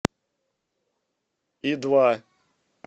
и два